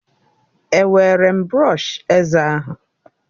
Ewere m brọsh eze ahụ